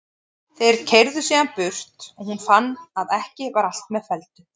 Þeir keyrðu síðan burt og hún fann að ekki var allt með felldu.